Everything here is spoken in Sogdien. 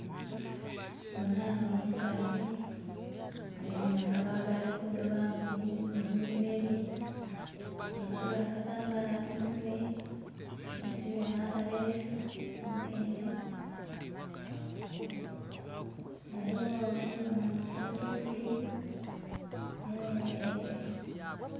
Ndhibonha ghanho omukazi agemye akabago ali kudhuba mubilime bye yesibye akatambala kumutwe, yesibye nhakalesu munkende ghaligho ndhibonha obuti buti, ndhibonha.....